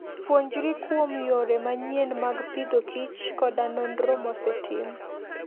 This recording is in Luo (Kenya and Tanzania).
Puonjri kuom yore manyien mag pidhokich koda nonro mosetim.